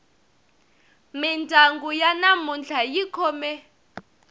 mindyangu ya namuntlha yi khome